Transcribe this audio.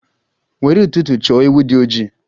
Nwere ụtụtụ chọ ewu di ojii!